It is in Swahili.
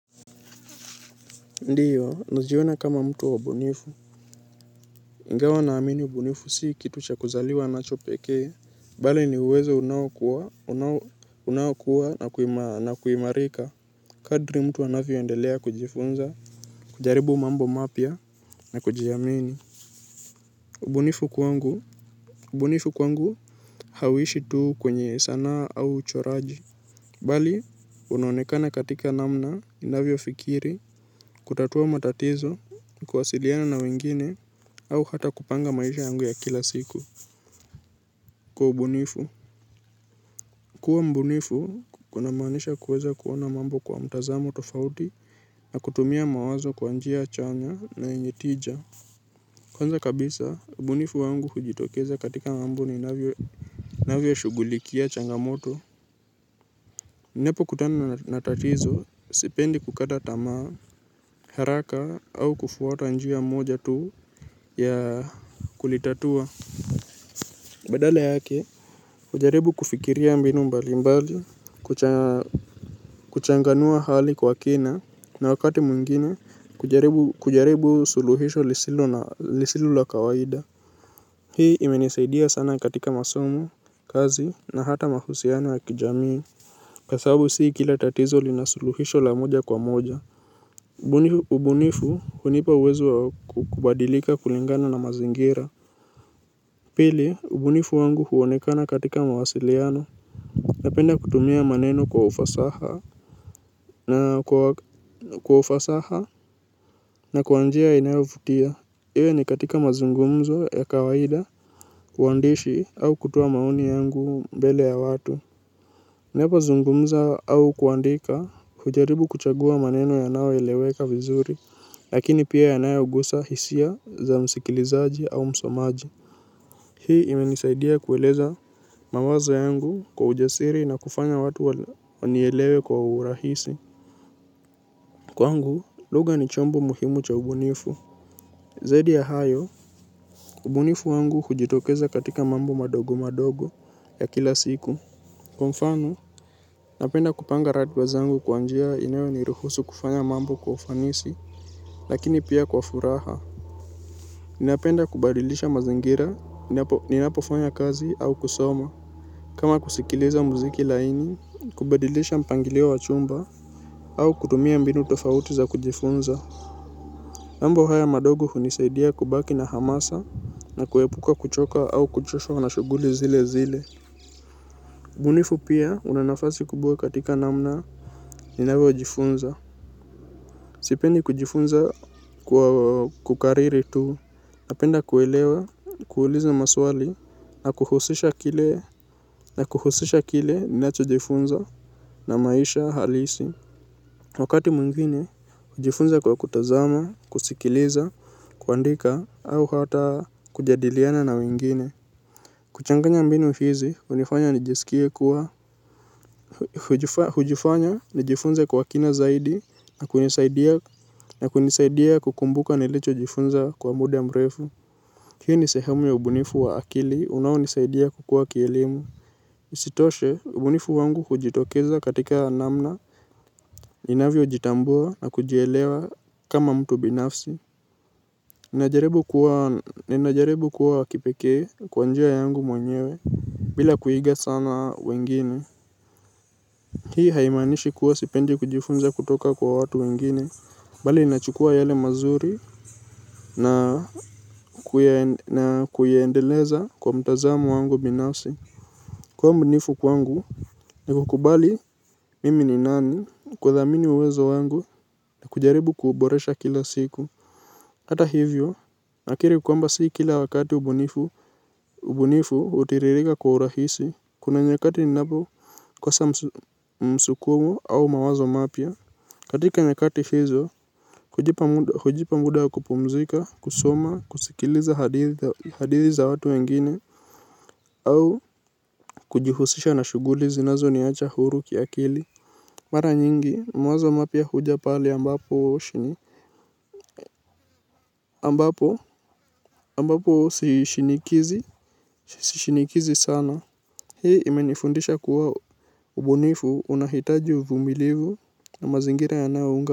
Ndiyo, naziona kama mtu wa bunifu Ngawa huwa naamini ubunifu sii kitu cha kuzaliwa nacho pekee. Mbali ni uwezo unawakua na kuimarika. Kadri mtu anavyoendelea kujifunza, kujaribu mambo mapya na kujiamini. Ubonifu kwangu, ubunifu kwangu hauishi tuu kwenye sanaa au uchoraji. Bali, unaonekana katika namna inavyo fikiri, kutatua matatizo, kuwasiliana na wengine, au hata kupanga maisha yangu ya kila siku. Kwa ubunifu kuwa mbunifu kuna maanisha kuweza kuona mambo kwa mtazamo tofauti na kutumia mawazo kwa njia chanya na yenye tija. Kwanza kabisa, mbunifu wangu hujitokeza katika mambo ninavyo shugulikia changamoto. Nepo kutana na tatizo, sipendi kukata tamaa, haraka au kufuata njia moja tu ya kulitatua. Badale yake, ujaribu kufikiria mbinu mbali mbali, kuchanganua hali kwa kina na wakati mwingine kujaribu suluhisho lisilo la kawaida. Hii imenisaidia sana katika masomo, kazi na hata mahusiano ya kijamii. Kwa sababu sii kila tatizo lina suluhisho la moja kwa moja. Ubunifu hunipa uwezo kubadilika kulingana na mazingira. Pili, ubunifu wangu huonekana katika mawasiliano. Napenda kutumia maneno kwa ufasaha na kwa ufasaha na kwa njia inayovutia. Iwe ni katika mazungumzo ya kawaida uandishi au kutua maoni yangu mbele ya watu. Napo zungumza au kuandika hujaribu kuchagua maneno yanao eleweka vizuri, lakini pia yanayogusa hisia za msikilizaji au msomaji. Hii imenisaidia kueleza mawazo yangu kwa ujasiri na kufanya watu wanielewe kwa urahisi. Kwangu, lugha ni chombo muhimu cha ubunifu. Zedi ya hayo, ubunifu wangu hujitokeza katika mambo madogo madogo ya kila siku. Kwa mfano, napenda kupanga ratiba zangu kwa njia inayo niruhusu kufanya mambo kwa ufanisi, lakini pia kwa furaha. Ninapenda kubadilisha mazingira, ninapofanya kazi au kusoma. Kama kusikiliza muziki laini, kubadilisha mpangilio wa chumba au kutumia mbinu tofauti za kujifunza. Mambo haya madogo hunisaidia kubaki na hamasa na kuepuka kuchoka au kuchoshwa na shuguli zile zile. Bunifu pia unanafasi kubwa katika namna ninavyo jifunza. Sipendi kujifunza kwa kukariri tu. Napenda kuelewa, kuuliza maswali, na kuhusisha kile ninacho jifunza na maisha halisi. Wakati mwingine, ujifunza kwa kutazama, kusikiliza, kuandika au hata kujadiliana na wengine. Kuchanganya mbinu hizi unifanya nijesikie kuwa hujifanya nijifunze kwa kina zaidi na kunisaidia kukumbuka nilicho jifunza kwa muda mrefu. Hii ni sehemu ya ubunifu wa akili unaonisaidia kukua kielimu. Isitoshe ubunifu wangu hujitokeza katika namna ninavyo jitambua na kujielewa kama mtu binafsi. Ninajaribu kuwa kipeke kwa njia yangu mwenyewe bila kuiga sana wengine. Hii haimanishi kuwa sipendi kujifunza kutoka kwa watu wengine. Bali ninachukua yale mazuri na kuyaendeleza kwa mtazamo wangu binafsi. Kuwa mbunifu kwangu ni kukubali mimi ni nani kudhamini uwezo wangu na kujaribu kuboresha kila siku. Hata hivyo, nakiri kwamba si kila wakati ubunifu utiririka kwa urahisi, kuna nyakati ni napo kosa msukumo au mawazo mapya. Katika nyakati hizo, hujipa muda wa kupumzika, kusoma, kusikiliza hadithi za watu wengine, au kujuhusisha na shuguli zinazo niacha huru kia kili. Mara nyingi mawazo mapia huja pale ambapo shini Ambapo Ambapo sishinikizi. Sishinikizi sana. Hii imenifundisha kuwa ubunifu unahitaji uvumilivu na mazingira yanayounga.